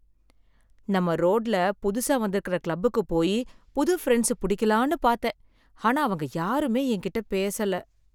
நம்ப ரோட்ல புதுசா வந்திருக்கற கிளப்புக்கு போய் புது ஃப்ரண்ட்ஸ் புடிக்கலான்னு பார்த்தேன், ஆனா அவங்க யாருமே என்கிட்ட பேசல.